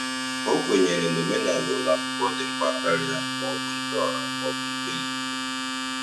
O kwenyere na omenala ụlọ akwụkwọ dị mkpa karịa ma ọ bụ nke ọha ma ọ bụ nke nzuzo.